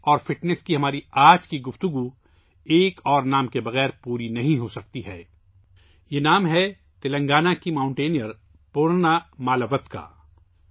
کھیل اور فٹنس کی ہماری آج کی بحث ایک اور نام کے بغیر مکمل نہیں ہوسکتی ہے یہ نام ہے تلنگانہ کی کوہ پیما پورنا مالاوتھ کا